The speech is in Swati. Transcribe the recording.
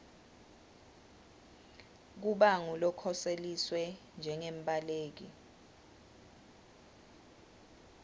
kuba ngulokhoseliswe njengembaleki